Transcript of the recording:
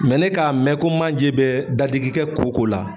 ne k'a mɛ ko manje bɛ dadigi kɛ koko la